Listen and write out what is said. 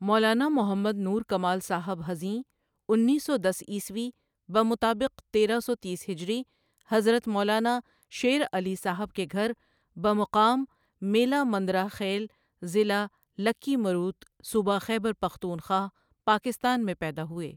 مولانا محمد نور کمال صاحب حزیںؔ انیس سو دس عیسوی بمطابق تیرہ سو تیس ہجری حضرت مولانا شیر علی صاحب کے گھر بقام میلہ مندرہ خیل ضلع لکی مروت، صوبہ خیبر پختونخوا، پاکستان مین پیدا ہوئے۔